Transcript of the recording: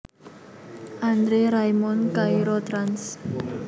André Raymond Cairo trans